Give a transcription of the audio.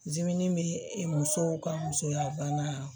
Dimin bɛ musow ka musoyabana